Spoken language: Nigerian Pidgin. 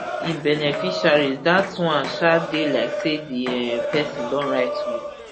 im beneficiaries dat one um dey like say di um pesin don write will